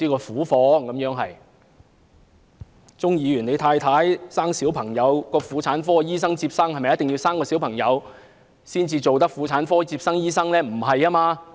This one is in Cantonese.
替鍾議員太太接生的婦產科醫生是否必須有生育經驗才能成為婦產科醫生呢？